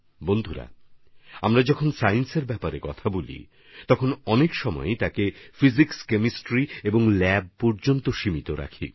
বন্ধুগণ আমরা যখন বিজ্ঞানের কথা বলি তখন তাকে অনেকবারই মানুষ পদার্থবিদ্যারসায়নের মধ্যে অথবা গবেষণাগার পর্যন্তই সীমিত করে ফেলেন